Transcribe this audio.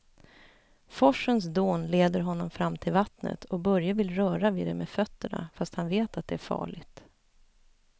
Forsens dån leder honom fram till vattnet och Börje vill röra vid det med fötterna, fast han vet att det är farligt.